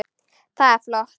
Það er flott.